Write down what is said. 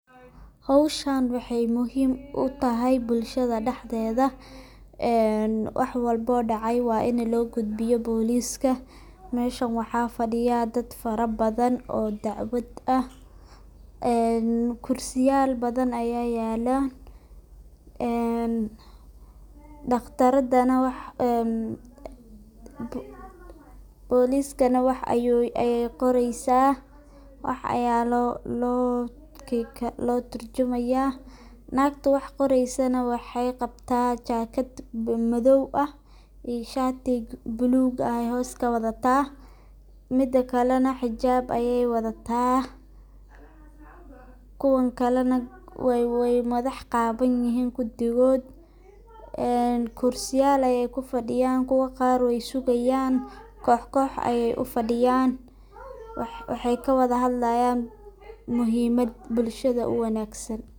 Xowshan waxay muxim utaxay bulshada dexdeda een waxwalbo oo dacay waa in loogudbiyo booliska meshan waxafadhiya dadh farabadhan oo dacwadh ah een kursiyal badhan aya yaala een daqradan nex wax en booliska neh wax ayey qoreysa wax aya loo turjumaya nagta waxqoreysana waxay qabta jakadh madow ah iyo shati bluga ayay hoos kawadhata midakale nex xijaab ayay wadhata kuwan kalena way madax qawan yixin kudigoodh een kursiyaal ayey kufadhiyan, kuwa qaar weysugayan koox koox ayay ufadhiyan waxay kawadha xadlayan muxiimadh bulshada uwanagsan